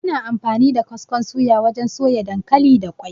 Ana amfani da kaskon suya wajen soya dankali da ƙwai.